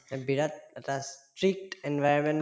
এই বিৰাট এটা strict environment